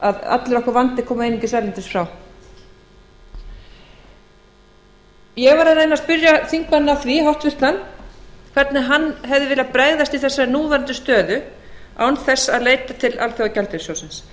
að allur okkar vandi komi einungis erlendis frá ég var að reyna að spyrja háttvirtan þingmann að því hvernig hann hefði viljað bregðast við þessari núverandi stöðu án þess að leita til alþjóðagjaldeyrissjóðsins